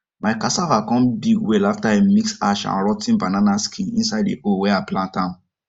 my cassava come big well after i mix ash and rot ten banana skin inside the hole wey i plant am